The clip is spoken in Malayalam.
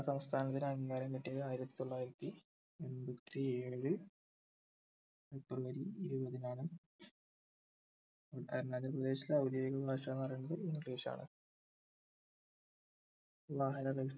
സംസ്ഥാനത്തിന് അംഗീകാരം കിട്ടിയത് ആയിരത്തിത്തൊള്ളായിരത്തി എമ്പത്തിയേഴിൽ february ഇരുപതിനാണ് അരുണാചൽ പ്രദേശിലെ ഔദ്യോഗിക ഭാഷാന്ന് പറയുന്നത് English ആണ് വാഹന